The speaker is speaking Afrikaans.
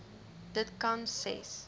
dit kan ses